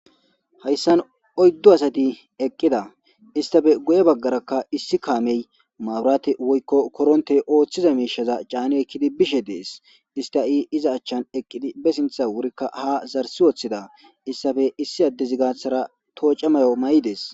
Hayssan oyddu asati eqqida istafe gu7e baggaraka issi kaamey maaburaate woykko koronte ooththiza miishaza caani ekkidi bishe dees ista i iza achchan eqqidi be sintha wurikka ha zarsi woththida issafe issi addezi gaathara tooca mayo may7ides.